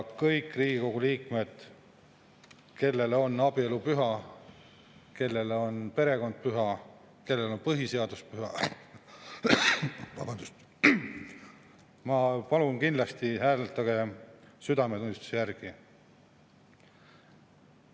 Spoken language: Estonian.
Kõik Riigikogu liikmed, kellele on abielu püha, kellele on perekond püha, kellele on põhiseadus püha, palun, hääletage kindlasti südametunnistuse järgi.